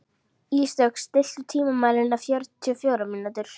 Ísdögg, stilltu tímamælinn á fjörutíu og fjórar mínútur.